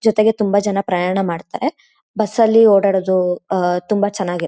ಜೊತೆಗೆ ತುಂಬಾ ಜನ ಪ್ರಯಾಣ ಮಾಡ್ತಾರೆ ಬಸ್ ಅಲ್ಲಿ ಓಡಾಡೋದು ಆಹ್ಹ್ ತುಂಬಾ ಚೆನ್ನಾಗಿ--